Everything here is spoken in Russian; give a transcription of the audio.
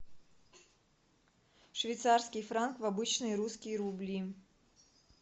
швейцарский франк в обычные русские рубли